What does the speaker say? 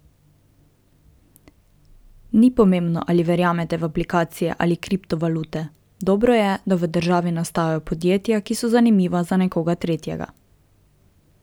Ni pomembno, ali verjamete v aplikacije ali kriptovalute, dobro je, da v državi nastajajo podjetja, ki so zanimiva za nekoga tretjega.